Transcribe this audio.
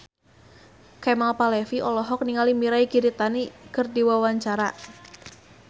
Kemal Palevi olohok ningali Mirei Kiritani keur diwawancara